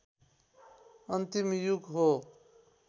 अन्तिम युग हो